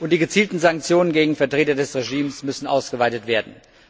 Und die gezielten Sanktionen gegen Vertreter des Regimes müssen ausgeweitet werden.